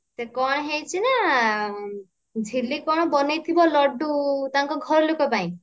ସେ କଣ ହେଇଛି ନା ଝିଲି କଣ ବନେଇଥିବ ଳଡ୍ଡୁ ତାଙ୍କ ଘର ଲୋକ ପାଇଁ